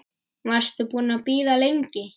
Varstu búin að bíða lengi?